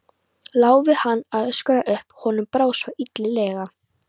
Lá við að hann öskraði upp, honum brá svo illilega.